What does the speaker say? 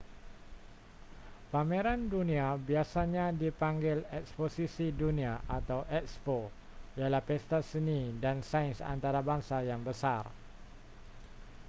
pameran dunia biasanya dipanggil eksposisi dunia atau ekspo ialah pesta seni dan sains antarabangsa yang besar